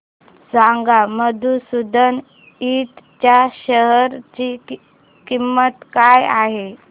सांगा मधुसूदन इंड च्या शेअर ची किंमत काय आहे